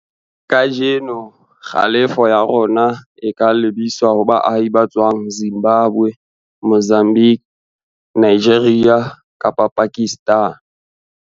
Kajeno, kgalefoya rona o ka lebiswa ho baahi ba tswang Zimbabwe, Mozambique, Nigeria kapa Pakistan.